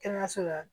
Kɛnɛyaso la